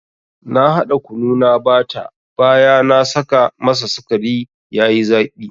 Na hada kunu na bata baya na saka masa sikari yayi zaki.